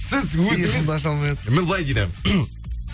сіз өзіңіз міне былай дейді